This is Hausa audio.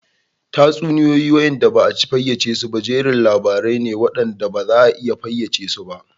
Tatsuniyoyi da ba a fayyace su ba jerin labarai ne waɗanda ba za a iya fayyace su ba